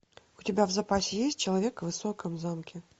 у тебя в запасе есть человек в высоком замке